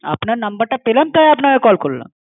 আপনার নম্বরটা পেলাম তাই আপনাকে কল করলাম।